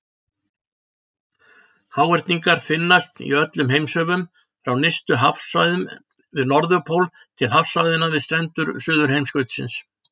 Háhyrningar finnast í öllum heimshöfum, frá nyrstu hafsvæðunum við Norðurpól til hafsvæðanna við strendur Suðurheimskautsins.